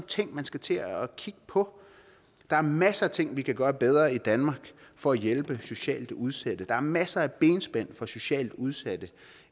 ting man skal til at kigge på der er masser af ting vi kan gøre bedre i danmark for at hjælpe socialt udsatte der er masser af benspænd for socialt udsatte